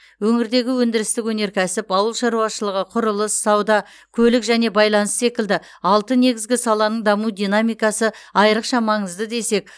өңірдегі өндірістік өнеркәсіп ауыл шаруашылығы құрылыс сауда көлік және байланыс секілді алты негізгі саланың даму динамикасы айрықша маңызды десек